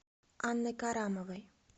анной карамовой